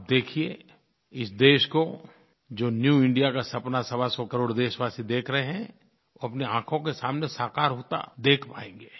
आप देखिए इस देश को जो न्यू इंडिया का सपना सवासौ करोड़ देशवासी देख रहे हैं वो अपनी आँखों के सामने साकार होता देख पाएँगे